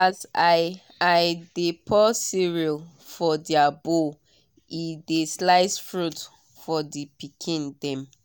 as i i dey pour cereal for their bowl e dey slice fruit for the pikin dem.